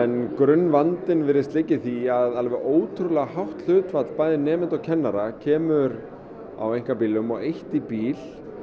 grunnvandinn virðist liggja í því að ótrúlega hátt hlutfall bæði nemenda og kennara kemur á einkabílum og eitt á bíl